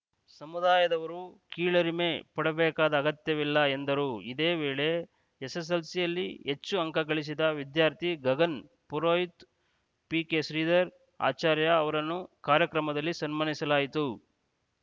ಸಮುದಾಯದವರು ಕೀಳರಿಮೆ ಪಡಬೇಕಾದ ಅಗತ್ಯವಿಲ್ಲ ಎಂದರು ಇದೇ ವೇಳೆ ಎಸ್‌ಎಸ್‌ಎಲ್‌ಸಿಯಲ್ಲಿ ಹೆಚ್ಚು ಅಂಕ ಗಳಿಸಿದ ವಿದ್ಯಾರ್ಥಿ ಗಗನ್‌ ಪುರೋಹಿತ್‌ ಪಿಕೆಶ್ರೀಧರ್‌ ಆಚಾರ್ಯ ಅವರನ್ನು ಕಾರ್ಯಕ್ರಮದಲ್ಲಿ ಸನ್ಮಾನಿಸಲಾಯಿತು